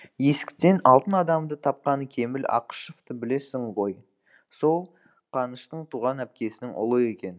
есіктен алтын адамды тапқан кемел ақышевты білесің ғой сол қаныштың туған әпкесінің ұлы екен